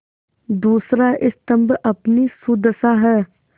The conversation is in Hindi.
दूसरा स्तम्भ अपनी सुदशा है